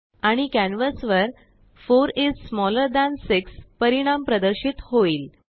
आणिकॅनवासवर4 is smaller than 6परिणाम प्रदर्शितहोईल